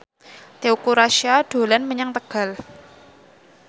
Teuku Rassya dolan menyang Tegal